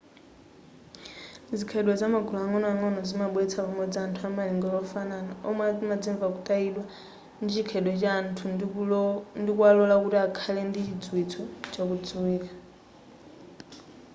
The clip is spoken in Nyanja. zikhalidwe za magulu ang'onoang'ono zimabweretsa pamodzi anthu amalingaliro ofanana omwe amadzimva kutayidwa ndi chikhalidwe cha anthu ndikuwalola kuti akhale ndi chidziwitso chakudziwika